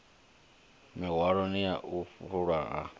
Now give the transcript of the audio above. miṅwahani ya u fulwa ha